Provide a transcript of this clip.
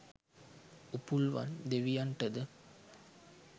Upulvan දෙවියන්ටද